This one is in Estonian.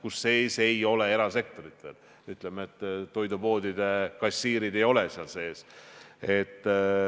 Ja selles ei arvestatud erasektorit, näiteks toidupoodide kassiire.